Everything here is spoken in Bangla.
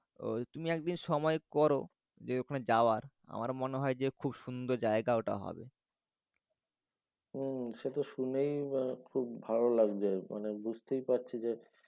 তুমি একদিন সময় করো যে ওখানে যাওয়ার আমার মনে হয় যে খুব সুন্দর জায়গা ওটা হবে। হম সে তো শুনেই খুব ভালো লাগছে। মানে বুঝতেই পারছি যে